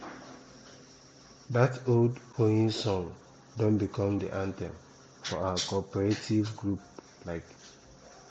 dat old hoeing song don become de anthem for our cooperative group um